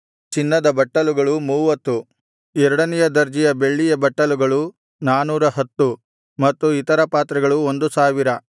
ಚಿನ್ನದ ಬಟ್ಟಲುಗಳು ಮೂವತ್ತು ಎರಡನೆಯ ದರ್ಜೆಯ ಬೆಳ್ಳಿಯ ಬಟ್ಟಲುಗಳು ನಾನೂರಹತ್ತು ಮತ್ತು ಇತರ ಪಾತ್ರೆಗಳು ಒಂದು ಸಾವಿರ